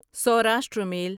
Saurashtra میل